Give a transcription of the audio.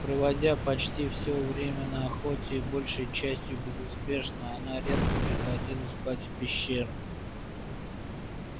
проводя почти всё время на охоте и большей частью безуспешно она редко приходила спать в пещеру